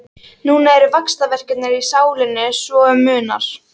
Núna eru vaxtarverkir í sálinni svo um munar.